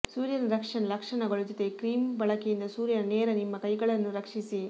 ಸೂರ್ಯನ ರಕ್ಷಣೆ ಲಕ್ಷಣಗಳು ಜೊತೆ ಕ್ರೀಮ್ ಬಳಕೆಯಿಂದ ಸೂರ್ಯನ ನೇರ ನಿಮ್ಮ ಕೈಗಳನ್ನು ರಕ್ಷಿಸಿ